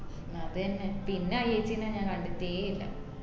അത് തന്നെ പിന്നെ ആ ഏച്ചിനെ ഞാൻ കണ്ടിട്ടേ ഇല്ല